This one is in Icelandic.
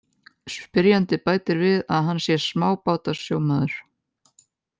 Spyrjandi bætir við að hann sé smábátasjómaður.